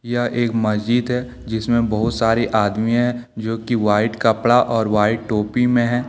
यह एक मस्जिद है जिसमे बहुत सारे आदमी है जोकि वाइट कपड़ा और वाइट टोपी में हैं।